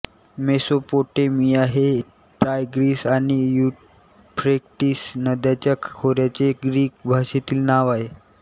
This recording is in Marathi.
मेसोपोटेमिया हे टायग्रीस आणि युफ्रेटिस नद्यांच्या खोऱ्याचे ग्रीक भाषेतील नाव आहे